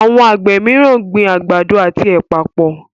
Awọn Àgbè míràn gbìn àgbàdo àti ẹpa pọ.